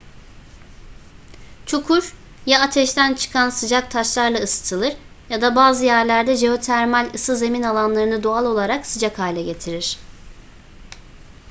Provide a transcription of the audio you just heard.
çukur ya ateşten çıkan sıcak taşlarla ısıtılır ya da bazı yerlerde jeotermal ısı zemin alanlarını doğal olarak sıcak hale getirir